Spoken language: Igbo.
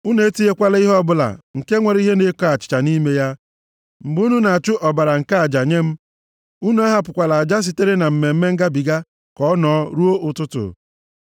“Unu etinyekwala ihe ọbụla nke nwere ihe na-eko achịcha nʼime ya, mgbe unu na-achụ ọbara nke aja nye m. Unu ahapụkwala aja sitere na Mmemme Ngabiga ka ọ nọọ ruo ụtụtụ.